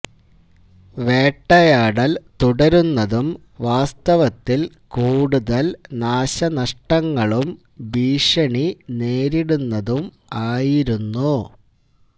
വേട്ടയാടൽ തുടരുന്നതും വാസ്തവത്തിൽ കൂടുതൽ നാശനഷ്ടങ്ങളും ഭീഷണി നേരിടുന്നതും ആയിരുന്നു